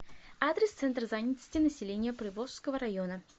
адрес центр занятости населения приволжского района